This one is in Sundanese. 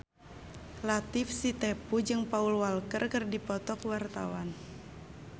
Latief Sitepu jeung Paul Walker keur dipoto ku wartawan